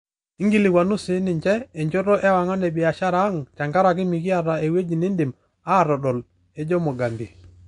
Ikilikwanu sininche e njoto ewangan e biashara ang' tenkaraki mekiata eweji nedimi aatodol," ejo Mugambi.